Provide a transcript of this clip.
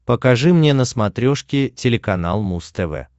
покажи мне на смотрешке телеканал муз тв